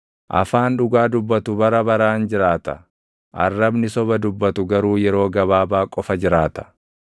Afaan dhugaa dubbatu bara baraan jiraata; arrabni soba dubbatu garuu yeroo gabaabaa qofa jiraata.